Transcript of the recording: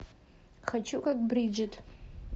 хочу как бриджит